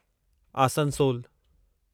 आसनसोलु